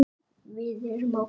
Við erum á kafi.